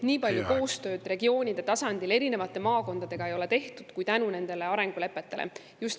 … et nii palju koostööd regioonide tasandil erinevate maakondadega kui tänu nendele arengulepetele ei ole varem tehtud.